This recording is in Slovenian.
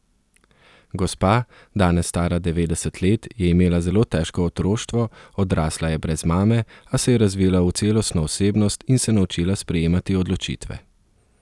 Gospa, danes stara devetdeset let, je imela zelo težko otroštvo, odrasla je brez mame, a se je razvila v celostno osebnost in se naučila sprejemati odločitve.